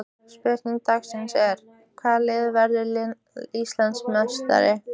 Spurning dagsins er: Hvaða lið verður Íslandsmeistari?